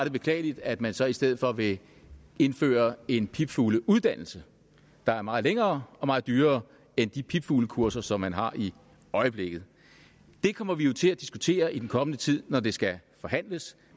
er beklageligt at man så i stedet for vil indføre en pipfugleuddannelse der er meget længere og meget dyrere end de pipfuglekurser som man har i øjeblikket det kommer vi jo til at diskutere i den kommende tid når det skal forhandles